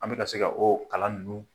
An bɛ ka se o kalan ninnu